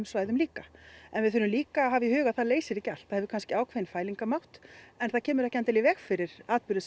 svæðum líka en við þurfum líka að hafa í huga að það leysir ekki allt það hefur kannski ákveðinn fælingarmátt en það kemur ekki í endilega í veg fyrir atburði